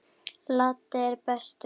Laddi er bestur.